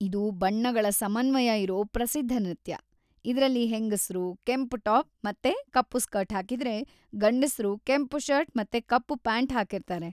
ಇದು ಬಣ್ಣಗಳ ಸಮನ್ವಯ ಇರೋ ಪ್ರಸಿದ್ಧ ನೃತ್ಯ, ಇದ್ರಲ್ಲಿ ಹೆಂಗಸ್ರು ಕೆಂಪು ಟಾಪ್‌ ಮತ್ತೆ ಕಪ್ಪು ಸ್ಕರ್ಟ್‌ ಹಾಕಿದ್ರೆ, ಗಂಡಸ್ರು ಕೆಂಪು ಷರ್ಟ್ ಮತ್ತೆ ಕಪ್ಪು ಪ್ಯಾಂಟ್ ಹಾಕಿರ್ತಾರೆ.